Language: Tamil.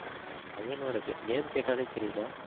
வயநாடு name கேட்டாலே தெரியல